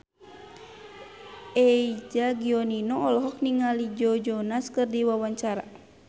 Eza Gionino olohok ningali Joe Jonas keur diwawancara